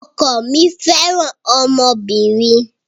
Ọkọ mí fẹràn ọmọbìnrin.